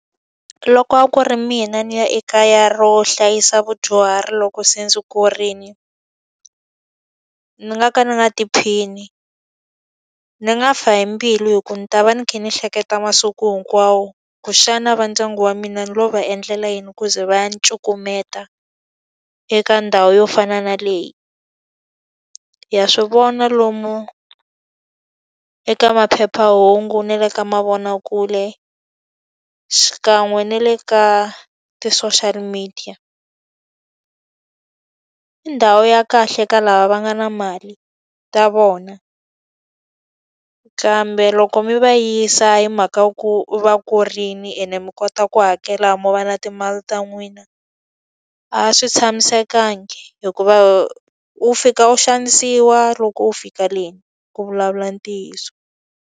Loko a ku ri mina ni ya ekaya ro hlayisa vadyuhari loko se ndzi kurile, ni nga ka ndzi nga tiphini. Ni nga fi hi mbilu hikuva ndzi ta va ni kha ni hleketa masiku hinkwawo, ku xana va ndyangu wa mina no va endlela yini ku ze va cukumeta eka ndhawu yo fana na leyi. Ha swi vona lomu eka maphephahungu na le ka mavonakule, xikan'we na le ka ti-social media. I ndhawu ya kahle ka lava va nga na mali ta vona, kambe loko mi va yisa mhaka ya ku va kurile ene mi kota ku hakela a mo va na timali ta n'wina, a swi tshamisekanga hikuva wu fika u xanisiwa loko u fika le ku vulavula ntiyiso.